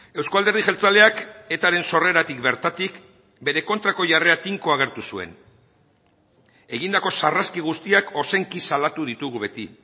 euzko alderdi jeltzaleak etaren sorreratik bertatik bere kontrako jarrera tinkoa agertu zuen egindako sarraski guztiak ozenki salatu ditugu beti